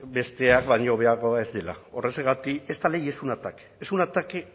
besteak baino hobeagoa ez dela horrexegatik esta ley es un ataque es un ataque